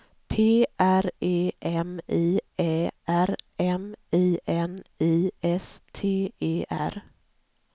P R E M I Ä R M I N I S T E R